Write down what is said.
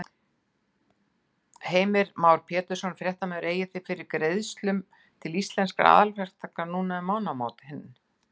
Heimir Már Pétursson, fréttamaður: Eigið þið fyrir greiðslum til Íslenskra aðalverktaka núna um mánaðamótin?